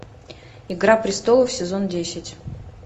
игра престолов сезон десять